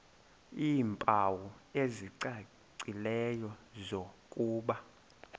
iimpawu ezicacileyo zokuba